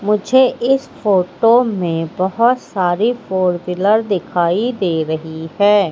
मुझे इस फोटो में बहुत सारी फोर व्हीलर दिखाई दे रही है।